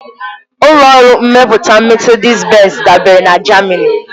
Ụlọ ọrụ mmepụta Mesedis-Benz dabeere na Jamani.